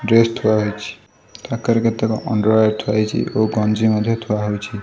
Dress ଥୁଆ ହୋଇଛି ପାଖରେ କେତେକ ଅଣ୍ଡରୱୟର ଥୁଆ ହୋଇଛି ଓ ଗଞ୍ଜି ମଧ୍ୟ ଥୁଆ ହୋଇଛି।